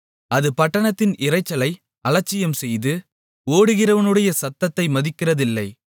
அது பட்டணத்தின் இரைச்சலை அலட்சியம்செய்து ஓட்டுகிறவனுடைய சத்தத்தை மதிக்கிறதில்லை